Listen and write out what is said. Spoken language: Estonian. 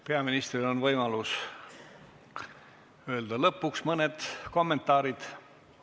Peaministril on võimalus öelda lõpuks mõned kommentaarid.